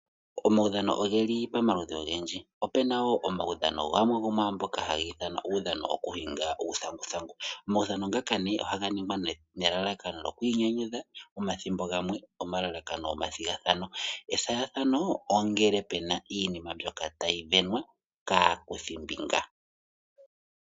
Omaudhano ogeli pomaludhi ogendji opena wo omaudhano gamwe gomwaamboka haga ithanwa uudhano wokuhinga uuthanguthangu. Omaudhano ngaka ne ohaga ningwa nelalakano lyokwiinyanyudha, omathimbo gamwe omalalakano gomathigathano. Ethigathano ongele pena iinima mbyoka tayisindanwa kaakuthimbinga.